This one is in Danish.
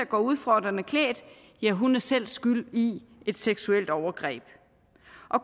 går udfordrende klædt selv er skyld i et seksuelt overgreb